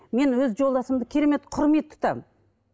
мен өз жолдасымды керемет құрмет тұтамын